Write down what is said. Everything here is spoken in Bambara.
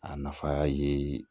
A nafa ye